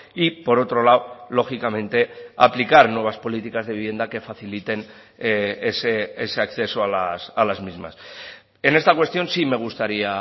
y por otro lado lógicamente aplicar nuevas políticas de vivienda que faciliten ese acceso a las mismas en esta cuestión sí me gustaría